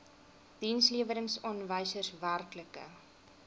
dienslewerings aanwysers werklike